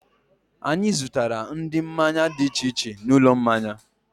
Anyị zụtara ụdị mmanya dị iche iche n'ụlọ mmanya